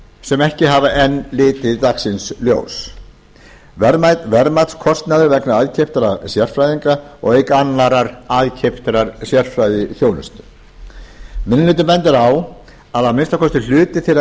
sem ekki hafa enn litið dagsins ljós verðmatskostnaðar vegna aðkeyptra sérfræðinga auk annarrar aðkeyptrar sérfræðiþjónustu minni hlutinn bendir á að að minnsta kosti hluti þeirra